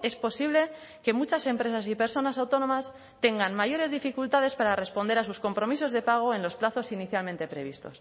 es posible que muchas empresas y personas autónomas tengan mayores dificultades para responder a sus compromisos de pago en los plazos inicialmente previstos